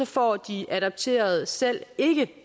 får de adopterede selv ikke